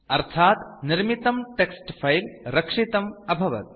अर्थात् निर्मितं text file रक्षितम् अभवत्